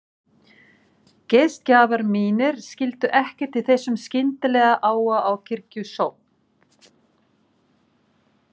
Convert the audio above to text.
Gestgjafar mínir skildu ekkert í þessum skyndilega áhuga á kirkjusókn.